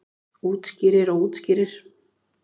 Útskýrir og útskýrir.